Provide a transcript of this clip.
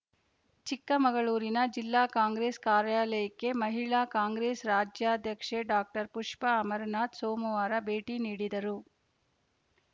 ಚಿಕ್ಕಮಗಳೂರಿನ ಜಿಲ್ಲಾ ಕಾಂಗ್ರೆಸ್‌ ಕಾರ್ಯಾಲಯಕ್ಕೆ ಮಹಿಳಾ ಕಾಂಗ್ರೆಸ್‌ ರಾಜ್ಯಾಧ್ಯಕ್ಷೆ ಡಾಕ್ಟರ್ ಪುಷ್ಪ ಅಮರನಾಥ್‌ ಸೋಮವಾರ ಭೇಟಿ ನೀಡಿದ್ದರು